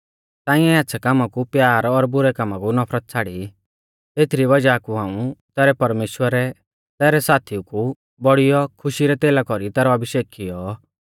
तांइऐ आच़्छ़ै कामा कु प्यार और बुरै कामा कु नफरत छ़ाड़ी एथरी वज़ाह कु हाऊं तैरै परमेश्‍वरै तैरै साथीऊ कु बौड़ियौ खुशी रै तेला कौरी तैरौ अभिषेक कियौ